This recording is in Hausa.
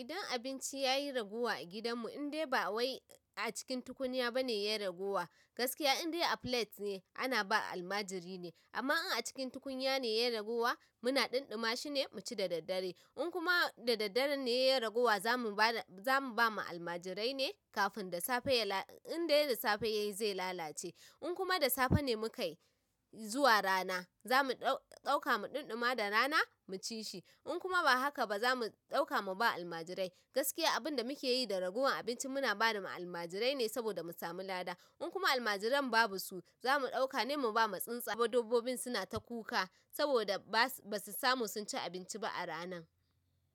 Idan abinci yayi ragowa a gidan mu indai ba wai acikin tukunya bane gaskiya indai a filat ne ana ba almajiri ne amma in a cikin tukunya ne yayi ragowa, muna ɗanɗuma shine mu ci da daddare. In kuma da daddare ne yayi ragowa, zamu bada, zamu ba ma almajirai ne kafin da safe ya la, in dai da safe yayi zai lalace. In kuma da safe ne mu kai zuwa rana, zamu ɗau, ɗauka mu ɗanɗuma da rana mu ci shi. In kuma ba haka ba zamu ɗauka muba almajirai. Gaskiya abin da muke yi da ragowar abinci muna bama almajirai ne saboda mu sami lada. In kuma almajiran babu su zamu ɗauka ne mu ba ma tsuntsa. Ko dabbobi suna ta kuka saboda ba su, ba su samu sunci abinci ba a ranan.